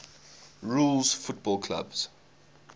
rules football clubs